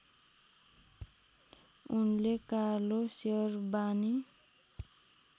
उनले कालो सेरबानी